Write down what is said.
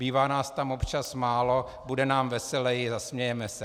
Bývá nás tam občas málo, bude nám veseleji, zasmějeme se.